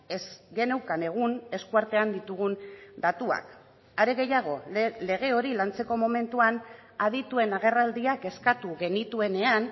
ez geneukan egun eskuartean ditugun datuak are gehiago lege hori lantzeko momentuan adituen agerraldiak eskatu genituenean